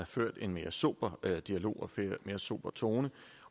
ført en mere sober dialog og en mere sober tone